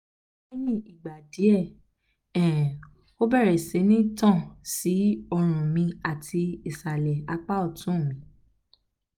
leyin igba die um o bere si ni tan um si orun mi ati um isale apa otun mi